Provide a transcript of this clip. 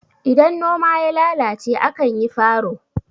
idan noma ya lalace a kan yi faro